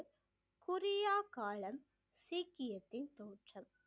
குரியா காலம் சீக்கியத்தின் தோற்றம்